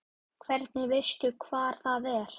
En hvernig veistu hvar það er?